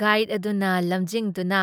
guide ꯑꯗꯨꯅ ꯂꯝꯖꯤꯡꯗꯨꯅ